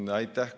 Aitäh!